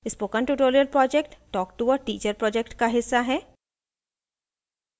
spoken tutorial project talktoa teacher project का हिस्सा है